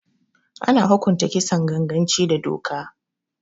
Ana hukunta Kisan ganganci da doka